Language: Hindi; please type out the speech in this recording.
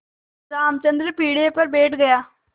रामचंद्र पीढ़े पर बैठ गया